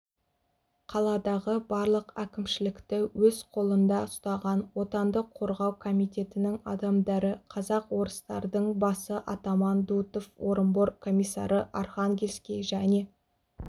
қаладағы барлық әкімшілікті өз қолында ұстаған отанды қорғау комитетінің адамдары казак-орыстардың басы атаман дутов орынбор комиссары архангельский және